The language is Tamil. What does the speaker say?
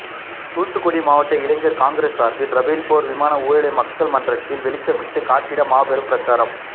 தூத்துக்குடி மாவட்ட இளைஞர் காங்கிரஸ் சார்பில் ரபேல் போர் விமான ஊழலை மக்கள் மன்றத்தில் வெளிச்சமிட்டு காட்டிட மாபெரும் பிரச்சாரம்